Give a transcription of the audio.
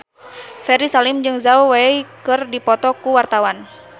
Ferry Salim jeung Zhao Wei keur dipoto ku wartawan